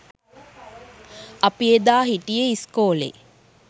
අපි එදා හිටියෙ ඉස්කෝලෙ